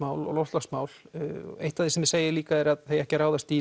og loftslagsmál þið segið líka að það eigi ekki að ráðast í